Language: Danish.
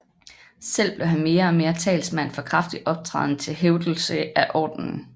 Selv blev han mere og mere talsmand for kraftig optræden til hævdelse af ordenen